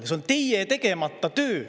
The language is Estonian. See on teie tegemata töö.